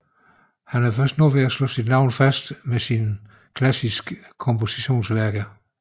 Han er først nu ved at slå sit navn fast med sine klassiske kompositionsværker